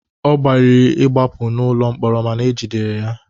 Ọ gbalịrị ịgbapụ n'ụlọ mkpọrọ mana ejidere ya